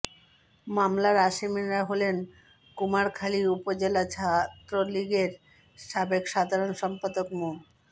মামলার আসামিরা হলেন কুমারখালী উপজেলা ছাত্রলীগের সাবেক সাধারণ সম্পাদক মো